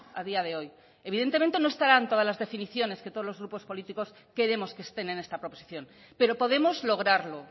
a día de hoy evidentemente no estarán todas las definiciones que todos los grupos políticos queremos que estén en esta proposición pero podemos lograrlo